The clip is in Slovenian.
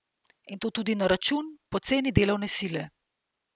In to tudi na račun poceni delovne sile.